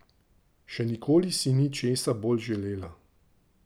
Še nikoli si ni česa bolj želela.